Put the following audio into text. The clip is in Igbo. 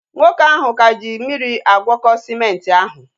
Nwoke ahụ ka ji mmiri agwọko sịmenti ahu